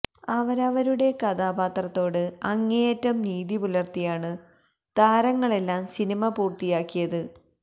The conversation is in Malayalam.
അവരവരുടെ കഥാപാത്രത്തോട് അങ്ങേയറ്റം നീതി പുലര്ത്തിയാണ് താരങ്ങളെല്ലാം സിനിമ പൂര്ത്തിയാക്കിയത്